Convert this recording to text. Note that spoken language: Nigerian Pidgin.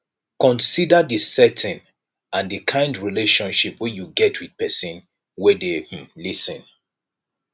consider di setting and di kind relationship wey you get with person wey dey um lis ten